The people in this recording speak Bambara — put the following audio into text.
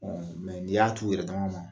mɛ ni y'a t'u yɛrɛ dama ma,